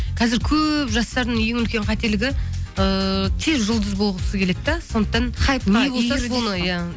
қазір көп жастардың ең үлкен қателігі ыыы тез жұлдыз болғысы келеді де сондықтан не болса соны иә